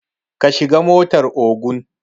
Ka shiga motar Ogun